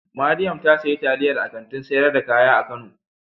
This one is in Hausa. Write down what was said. Mariam ta sayi taliyan a Kantin sayar da kaya a kano.